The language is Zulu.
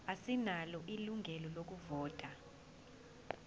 asinalo ilungelo lokuvota